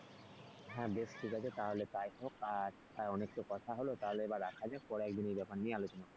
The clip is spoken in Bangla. হ্যাঁ বেশ ঠিক আছে তাহলে তাই হোক আজ অনেক তো কথা হল তাহলে এবার রাখা যাক পরে একদিন এই ব্যাপার নিয়ে আলোচনা করবো।